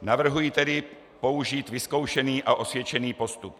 Navrhuji tedy použít vyzkoušený a osvědčený postup.